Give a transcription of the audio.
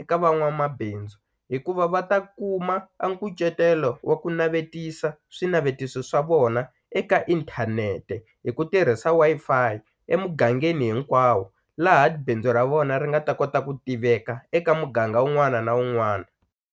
eka van'wamabindzu hikuva va ta kuma a nkucetelo wa ku navetisa swinavetiso swa vona eka inthanete hi ku tirhisa Wi-Fi emugangeni hinkwawo laha bindzu ra vona ri nga ta kota ku tiveka eka muganga wun'wana na wun'wana.